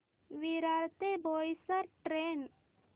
विरार ते बोईसर ट्रेन